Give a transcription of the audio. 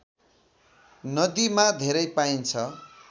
नदीमा धेरै पाइन्छ